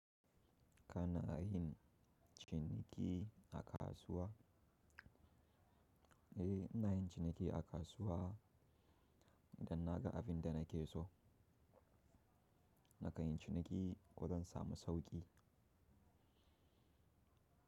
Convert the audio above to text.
Ka na yin ciniki a kasuwa? Eh, ina yin ciniki a kasuwa idan na ga abin da nake so. Nakan yi ciniki kodan samu sauƙi.